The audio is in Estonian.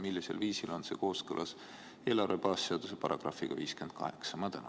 Millisel viisil on see kooskõlas eelarve baasseaduse §-ga 58?